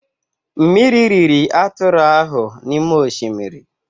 Mmiri riri atụrụ ahụ n'ime oshimiri.